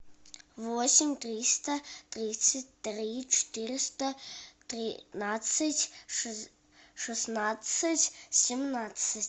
восемь триста тридцать три четыреста тринадцать шестнадцать семнадцать